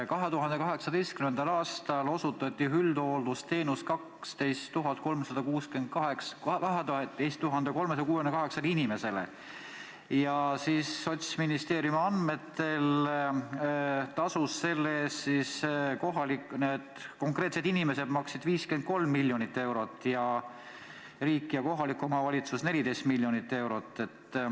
2018. aastal osutati üldhooldusteenust 12 368 inimesele ja Sotsiaalministeeriumi andmetel maksid need konkreetsed inimesed selle eest 53 miljonit eurot ning riik ja kohalik omavalitsus 14 miljonit eurot.